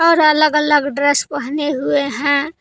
और अलग अलग ड्रेस पहने हुए हैं।